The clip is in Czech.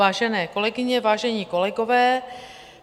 Vážené kolegyně, vážení kolegové.